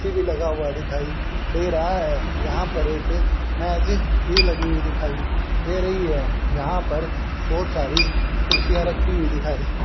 TV लगा हुआ दिखाई दे रहा है यहां पर एक भी मेज लगी हुई दिखाई दे रही है यहां पर बहोत सारी कुर्सियां रखी हुई दिखाई--